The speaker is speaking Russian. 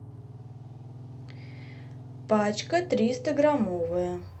пачка триста граммовая